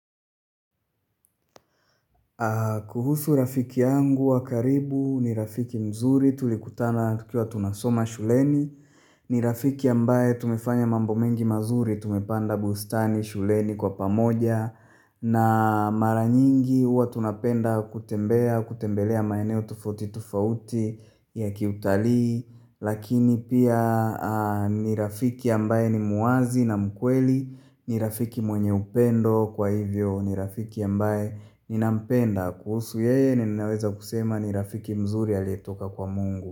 Kuhusu rafiki yangu wa karibu ni rafiki mzuri tulikutana tukiwa tunasoma shuleni ni rafiki ambaye tumefanya mambo mengi mazuri tumepanda bustani shuleni kwa pamoja na mara nyingi huwa tunapenda kutembelea maeneo tofauti tofauti ya kiutalii Lakini pia ni rafiki ambaye ni muwazi na mkweli ni rafiki mwenye upendo Kwa hivyo ni rafiki ambaye ninampenda kuhusu yeye ninaweza kusema ni rafiki mzuri aliyetoka kwa mungu.